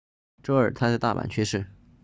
周二他在大阪去世